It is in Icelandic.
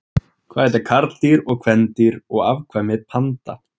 Hvað heita karldýr, kvendýr og afkvæmi panda?